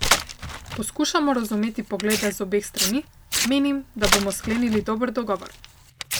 Poskušamo razumeti poglede z obeh strani, menim, da bomo sklenili dober dogovor.